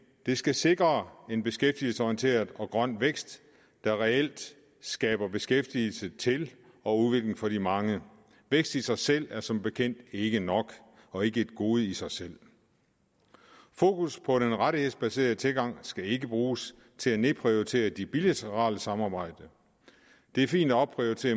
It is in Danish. det skal sikre en beskæftigelsesorienteret og grøn vækst der reelt skaber beskæftigelse til og udvikling for de mange vækst i sig selv er som bekendt ikke nok og ikke et gode i sig selv fokus på den rettighedsbaserede tilgang skal ikke bruges til at nedprioritere det bilaterale samarbejde det er fint at opprioritere